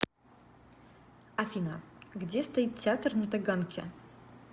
афина где стоит театр на таганке